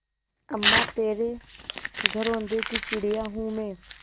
अम्मा तेरे घरौंदे की चिड़िया हूँ मैं